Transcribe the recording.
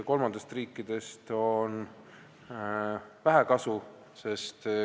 Kolmandatest riikidest on vähe kasu.